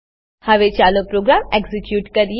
હવે ચાલો program execute કરીએ